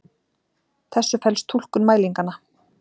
þessu felst túlkun mælinganna.